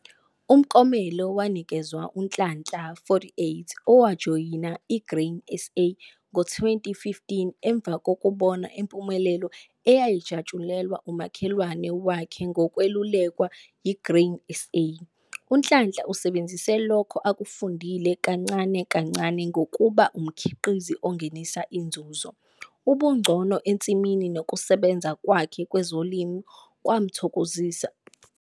Umklomelo wanikezwa uNhlanhla, 48, owajoyina i-Grain SA ngo-2015 emva kokubona impumelelo eyayijatshulelwa umakhelwane wakhe ngokwelulekwa yi-Grain SA. UNhlanhla usebenzisa lokho akufundile kancane kancane ngokuba umkhiqizi ongenisa inzuzo. Ubungcono ensimini nokusebenza kwakhe kwezolimo kwawathokozisa amajaji.